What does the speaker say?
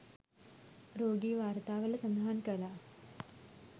රෝගී වාර්තාවල සඳහන් කළා